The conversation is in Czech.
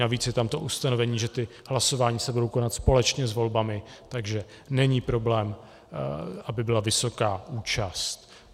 Navíc je tam to ustanovení, že hlasování se budou konat společně s volbami, takže není problém, aby byla vysoká účast.